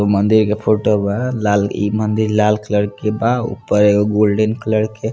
एगो मंदिर में फोटो वा ई मंदिर लाल कलर के बा ऊपर एगो गोल्डन कलर के--